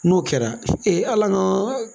N'o kɛra ee Ala na